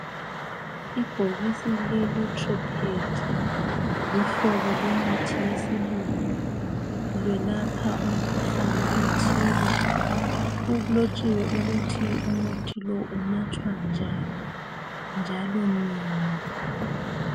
Ibhokisi lelotepred luhlobo lwemithi yesilungu, welapha umkhuhlane othile, kulotshiwe ukuthi umuthi lowu unathwa njani njalo nini.